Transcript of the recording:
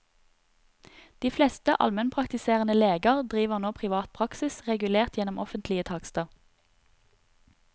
De fleste almenpraktiserende leger driver nå privat praksis, regulert gjennom offentlige takster.